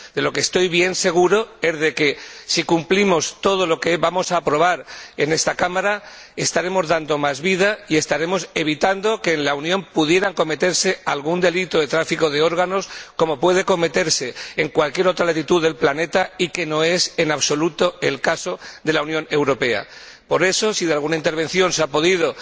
De lo que estoy bien seguro es de que, si cumplimos todo lo que vamos a aprobar en esta Cámara, estaremos dando más vida y estaremos evitando que en la Unión pueda cometerse algún delito de tráfico de órganos, como puede cometerse en cualquier otra latitud del planeta, lo que no es, en absoluto, el caso de la Unión Europea. Por eso, si de alguna intervención se ha podido